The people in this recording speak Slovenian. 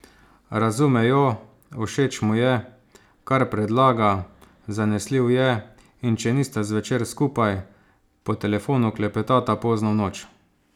Razume jo, všeč mu je, kar predlaga, zanesljiv je, in če nista zvečer skupaj, po telefonu klepetata pozno v noč.